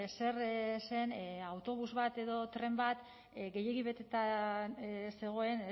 zer zen autobus bat edo tren bat gehiegi beteta zegoen